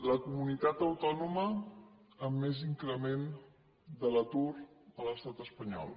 la comunitat autònoma amb més increment de l’atur a l’estat espanyol